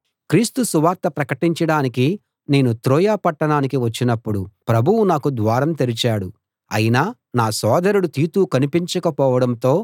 క్రీస్తు సువార్త ప్రకటించడానికి నేను త్రోయ పట్టణానికి వచ్చినప్పుడు ప్రభువు నాకు ద్వారం తెరిచాడు అయినా నా సోదరుడు తీతు కనిపించకపోవడంతో